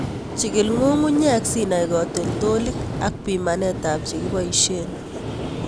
Chikil ng'ung'unyek sinai katoltolik ak pimanetab chekibosien.